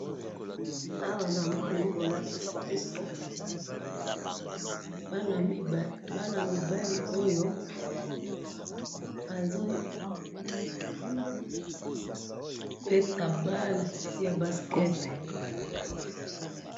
awa namoni bolakisi biso ban mibali oyo bazo beta balle ya basket.